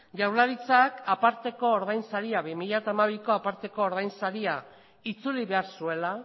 jaurlaritzak aparteko ordainsaria bi mila hamabiko aparteko ordainsaria itzuli behar zuela